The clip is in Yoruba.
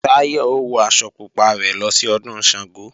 Táyọ̀ ó wọ aṣọ pupa rẹ̀ lọ sí Ọdún Ṣàngó